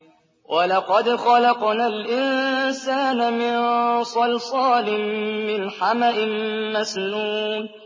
وَلَقَدْ خَلَقْنَا الْإِنسَانَ مِن صَلْصَالٍ مِّنْ حَمَإٍ مَّسْنُونٍ